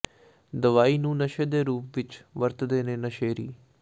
ਦਵਾਈ ਨੂੰ ਨਸ਼ੇ ਦੇ ਰੂਪ ਵਿਚ ਵਰਤਦੇ ਨੇ ਨਸ਼ੇੜੀ